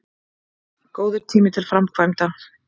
Góður tími til framkvæmda